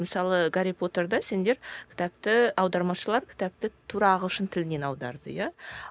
мысалы гарри потерді сендер кітапты аудармашылар кітапты тура ағылшын тілінен аударды иә